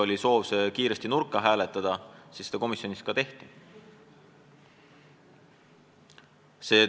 Oli soov eelnõu kiiresti nurka hääletada ja komisjonis seda ka tehti.